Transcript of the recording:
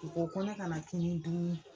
U ko ko ne kana kini dun.